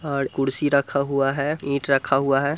और कुर्सी रखा हुआ है ईट रखा हुआ है।